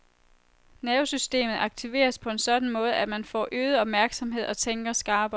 Nervesystemet aktiveres på en sådan måde, at man får øget opmærksomhed og tænker skarpere.